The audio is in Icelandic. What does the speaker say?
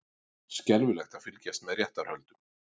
Skelfilegt að fylgjast með réttarhöldum